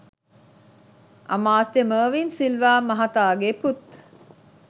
අමාත්‍ය මර්වින් සිල්වා මහතාගේ පුත්